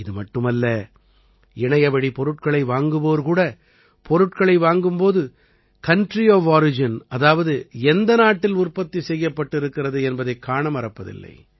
இது மட்டுமல்ல இணையவழி பொருட்களை வாங்குவோர் கூட பொருட்களை வாங்கும் போது கவுண்ட்ரி ஒஃப் ஒரிஜின் அதாவது எந்த நாட்டில் உற்பத்தி செய்யப்பட்டிருக்கிறது என்பதைக் காண மறப்பதில்லை